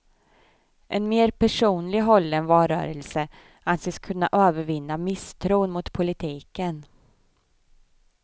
En mer personligt hållen valrörelse anses kunna övervinna misstron mot politiken.